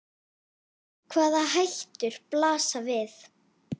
Hvaða hættur blasa við?